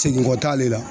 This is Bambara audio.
Segin kɔ t'ale la